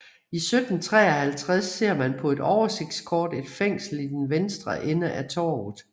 I 1753 ser man på et oversigtskort et fængsel i den vestre ende af torvet